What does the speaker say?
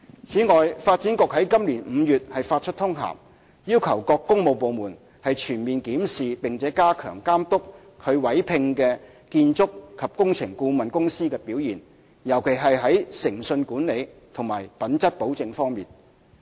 此外，發展局於今年5月發出通函，要求各工務部門全面檢視並加強監督其委聘的建築及工程顧問公司的表現，尤其是在誠信管理及品質保證方面。